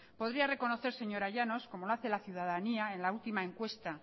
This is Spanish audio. podría reconocer señora llanos como lo hace la ciudadanía en la última encuesta